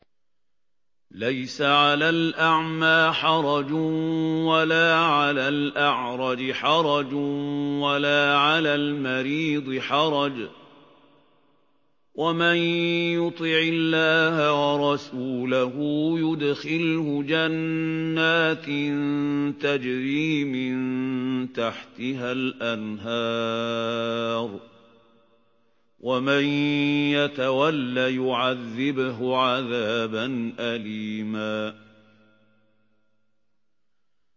لَّيْسَ عَلَى الْأَعْمَىٰ حَرَجٌ وَلَا عَلَى الْأَعْرَجِ حَرَجٌ وَلَا عَلَى الْمَرِيضِ حَرَجٌ ۗ وَمَن يُطِعِ اللَّهَ وَرَسُولَهُ يُدْخِلْهُ جَنَّاتٍ تَجْرِي مِن تَحْتِهَا الْأَنْهَارُ ۖ وَمَن يَتَوَلَّ يُعَذِّبْهُ عَذَابًا أَلِيمًا